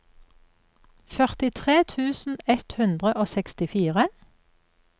førtitre tusen ett hundre og sekstifire